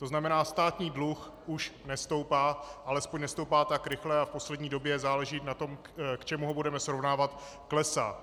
To znamená, státní dluh už nestoupá, alespoň nestoupá tak rychle, a v poslední době - záleží na tom, k čemu ho budeme srovnávat - klesá.